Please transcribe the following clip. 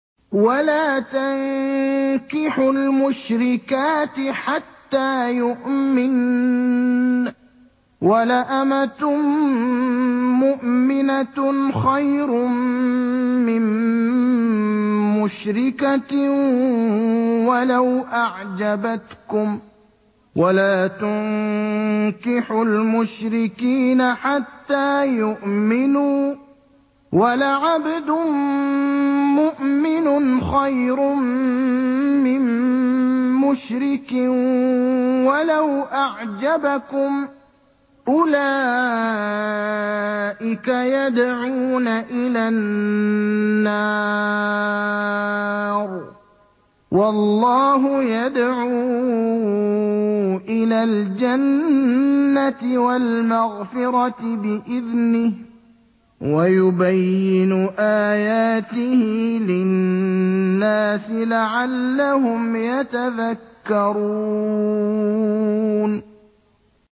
وَلَا تَنكِحُوا الْمُشْرِكَاتِ حَتَّىٰ يُؤْمِنَّ ۚ وَلَأَمَةٌ مُّؤْمِنَةٌ خَيْرٌ مِّن مُّشْرِكَةٍ وَلَوْ أَعْجَبَتْكُمْ ۗ وَلَا تُنكِحُوا الْمُشْرِكِينَ حَتَّىٰ يُؤْمِنُوا ۚ وَلَعَبْدٌ مُّؤْمِنٌ خَيْرٌ مِّن مُّشْرِكٍ وَلَوْ أَعْجَبَكُمْ ۗ أُولَٰئِكَ يَدْعُونَ إِلَى النَّارِ ۖ وَاللَّهُ يَدْعُو إِلَى الْجَنَّةِ وَالْمَغْفِرَةِ بِإِذْنِهِ ۖ وَيُبَيِّنُ آيَاتِهِ لِلنَّاسِ لَعَلَّهُمْ يَتَذَكَّرُونَ